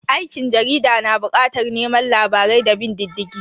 Aikin jarida na bukatar neman labarai da bin diddigi